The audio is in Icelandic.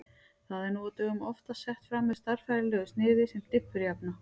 Það er nú á dögum oftast sett fram með stærðfræðilegu sniði sem diffurjafna.